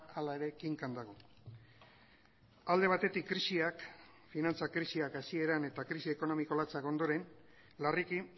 hala ere kinkan dago alde batetik krisiak finantza krisiak hasieran eta krisi ekonomiko latzak ondoren larriki